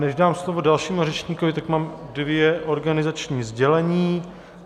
Než dám slovo dalšímu řečníkovi, tak mám dvě organizační sdělení.